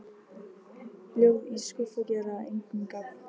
Ljóð í skúffu gera engum gagn.